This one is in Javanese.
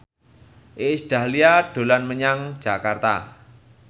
Iis Dahlia dolan menyang Jakarta